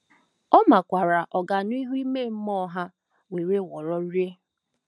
Ọ makwaara ọganihu ime mmụọ ha nwewororịị..